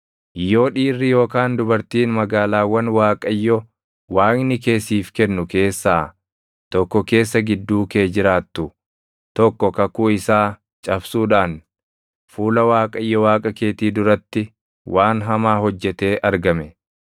Yoo dhiirri yookaan dubartiin magaalaawwan Waaqayyo Waaqni kee siif kennu keessaa tokko keessa gidduu kee jiraattu tokko kakuu isaa cabsuudhaan fuula Waaqayyo Waaqa keetii duratti waan hamaa hojjetee argame,